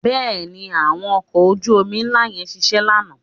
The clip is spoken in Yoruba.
Bẹ́ẹ̀ni, àwọn ọkọ̀ ojú-omi ńlá yẹn ṣiṣẹ́ lánàá?